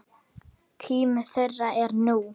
Tími þeirra er nú.